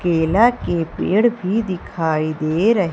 केला के पेड़ भी दिखाई दे र--